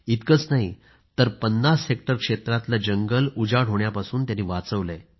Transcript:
इतकंच नाही तर 50 हेक्टर क्षेत्रातलं जंगल उजाड होण्यापासून वाचवलं